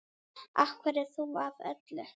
Af hverju þú af öllum?